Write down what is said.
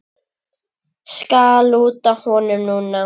Skal lúta honum núna.